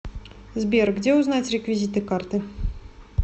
сбер где узнать реквизиты карты